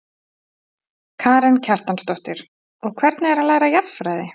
Karen Kjartansdóttir: Og hvernig er að læra jarðfræði?